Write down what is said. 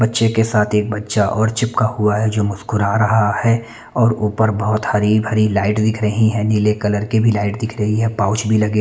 बच्चे के साथ एक बच्चा और चिपका हुआ है जो मुस्कुरा रहा है और ऊपर बहुत हरी भरी लाइट दिख रही है नीले कलर की भी लाइट दिख रही है पाउच भी लगे--